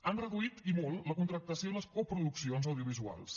han reduït i molt la contractació i les coproduccions audiovisuals